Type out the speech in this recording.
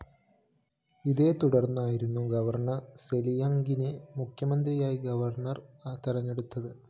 ഇതേതുടര്‍ന്നായിരുന്നു governor സെലിയാംഗിനെ മുഖ്യമന്ത്രിയായി governor തെരഞ്ഞെടുത്തത്